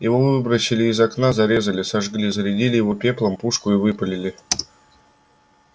его выбросили из окна зарезали сожгли зарядили его пеплом пушку и выпалили